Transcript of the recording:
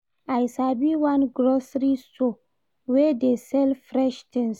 I sabi one grocery store wey dey sell fresh tins.